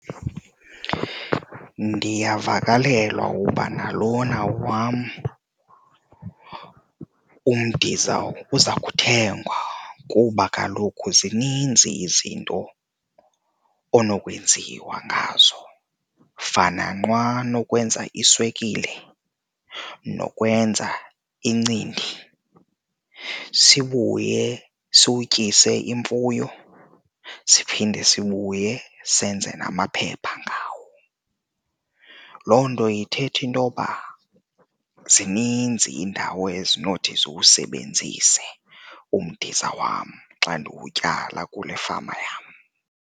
Ndiyavakalelwa uba nalona wam umdiza uza kuthengwa kuba kaloku zininzi izinto onokwenziwa ngazo kufana nqwa nokwenza iswekile nokwenza iincindi sibuye siwutyise imfuyo, siphinde sibuye senze namaphepha ngawo. Loo nto ithetha intoba zininzi iindawo ezinothi ziwusebenzise umdiza wam xa ndiwutyala kule fama yam.